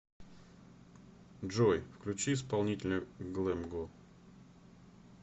джой включи исполнителя глэм го